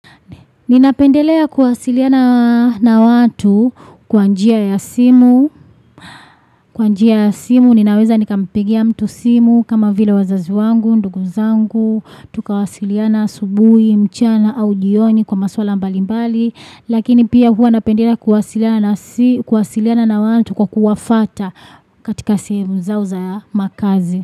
Ninapendelea kuwasiliana na watu kwa njia ya simu, kwa njia ya simu ninaweza nikampigia mtu simu kama vile wazazi wangu, nduguzangu, tukawasiliana asubuhi, mchana au jioni kwa maswala mbalimbali, lakini pia hua napendelea kuwasiliana na simu kuwasiliana na watu kwa kuwafata katika sehemu zao za makazi.